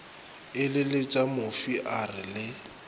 eleletša mofi a re le